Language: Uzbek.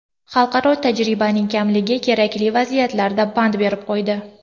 Xalqaro tajribaning kamligi kerakli vaziyatlarda pand berib qo‘ydi.